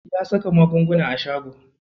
Ya saka magunguna a shago.